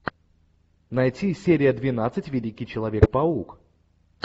найти серия двенадцать великий человек паук